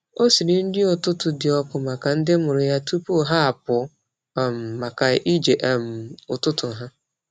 Ọ siri nri ụtụtụ dị ọkụ maka ndị mụrụ ya tupu ha apụ maka ije ụtụtụ ha.